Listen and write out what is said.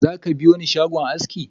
Zaka biyoni shagon aski?